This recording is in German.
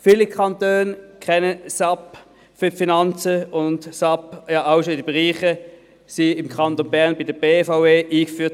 Viele Kantone kennen SAP für die Finanzen, und SAP wurde im Kanton Bern ja auch schon im Bereich der BVE eingeführt.